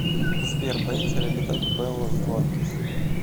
сбер боится ли летать белла златкис